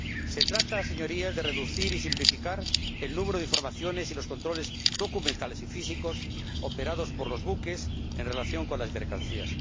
Se trata, Señorías, de reducir y simplificar el número de informaciones y los controles documentales y físicos operados por los buques en relación con las mercancías.